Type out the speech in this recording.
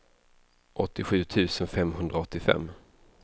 åttiosju tusen femhundraåttiofem